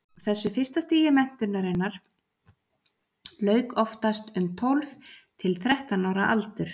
þessu fyrsta stigi menntunarinnar lauk oftast um tólf til þrettán ára aldur